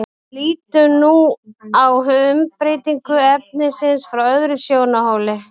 lítum nú á umbreytingu efnisins frá öðrum sjónarhóli